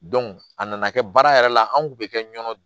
a nana kɛ baara yɛrɛ la an kun be kɛ ɲɔ